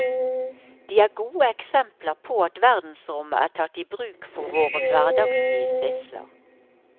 De er gode eksempler på at verdensrommet er tatt i bruk for våre hverdagslige sysler.